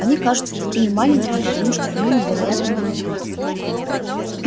они кажутся такими маленькими потому что они невероятно далеко